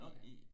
Okay